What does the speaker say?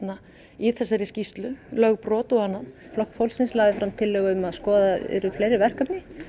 í þessari skýrslu lögbrot og annað flokkur fólksins lagði fram tillögu um að skoðuð yrðu fleiri verkefni